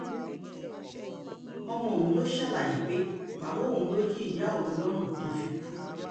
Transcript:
ọmọ ọ̀hún ló ṣàlàyé pé bàbá òun ló yin ìyá òun lọ́rùn tó fi kú